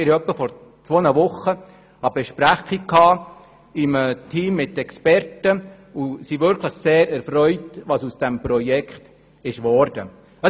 Wir hatten vor ungefähr zwei Wochen eine Besprechung in einem Team von Experten, und wir sind wirklich sehr erfreut, was aus dem Projekt geworden ist.